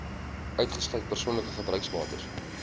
uitgesluit persoonlike gebruiksbates